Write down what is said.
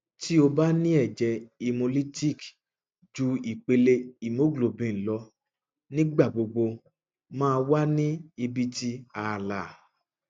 ti o ba ni ẹjẹ hemolytic ju ipele haemoglobin lọ nigbagbogbo maa wa ni ibiti aala